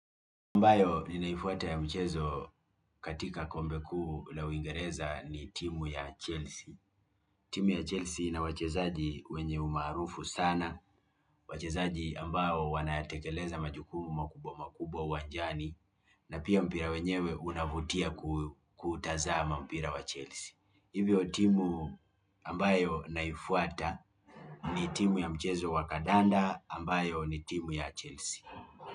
Amabayo ninaifwata ya michezo katika kombe kuu la uingereza ni timu ya Chelsea timu ya Chelsea ina wachezaji wenye umaarufu sana wachezaji ambao wanatekeleza majukumu makubwa makubwa uwanjani, na pia mpira wenyewe unavutia kuutazama mpira wa Chelsea. Hivyo timu ambayo naifuata ni timu ya mchezo wakadanda ambayo ni timu ya Chelsea.